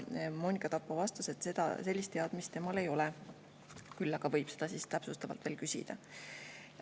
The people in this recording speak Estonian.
Monika Tappo vastas, et sellist teadmist temal ei ole, küll aga võib ta seda täpsustavalt järele küsida.